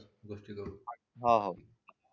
हाव हाव